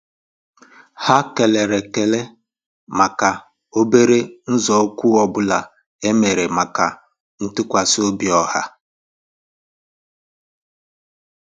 Há kélèrè ékélè màkà óbérè nzọ́ụ́kwụ́ ọ́ bụ́lá é mèrè màkà ntụ́kwasị́ óbí ọ́há.